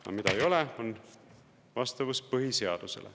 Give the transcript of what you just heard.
Aga mida ei ole, on vastavus põhiseadusele.